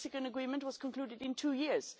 The Mexican agreement was concluded in two years.